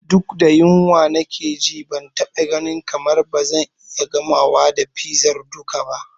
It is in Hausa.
Duk da yunwa nake ji, ban taɓa ganin kamar ba zan iya gamawa da fizar duka ba.